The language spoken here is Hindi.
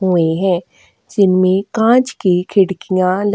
हुए हैं जिनमें काँच की खिड़कियाँ ल --